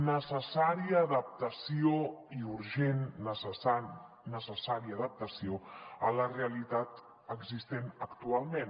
necessària adaptació i urgent necessària adaptació a la realitat existent actualment